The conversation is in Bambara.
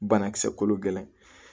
Banakisɛ kolo gɛlɛn